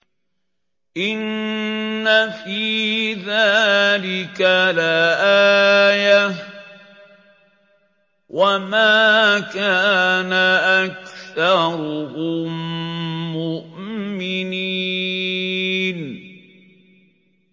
إِنَّ فِي ذَٰلِكَ لَآيَةً ۖ وَمَا كَانَ أَكْثَرُهُم مُّؤْمِنِينَ